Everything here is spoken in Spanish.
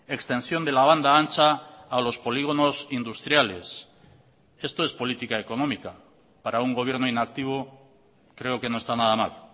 extensión de la banda ancha a los polígonos industriales esto es política económica para un gobierno inactivo creo que no está nada mal